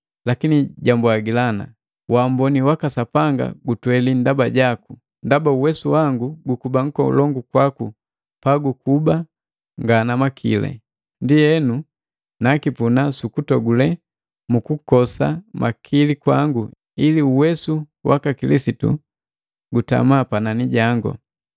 Lakini jambwagila, “Wamboni waka Sapanga gutweli ndaba jaku, ndaba uwesu wangu gukuba nkolongu kwaku pagukuba nga na makili.” Ndienu, nakipuna sukutogule mu kukosa makili kwangu ili uwesu gaka Kilisitu gatama panani jangu.